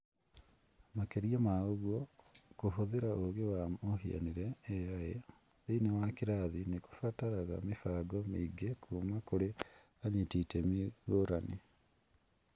Makĩria ma ũguo, kũhũthĩra ũũgĩ wa mũhianĩre(AI) thĩinĩ wa kĩrathi nĩ kũbataraga mĩbango mĩingĩ kuuma kũrĩ anyiti itemi ngũrani.